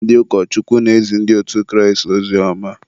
ndị ụkọchukwu na-ezi ndị otu Kraịst ozioma.